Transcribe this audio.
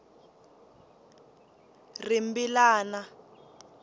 rimbilana